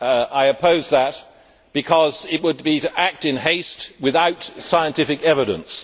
I oppose that because it would be to act in haste without scientific evidence.